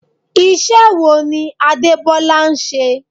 Iṣẹ́ wo ni Adebola ń ṣe?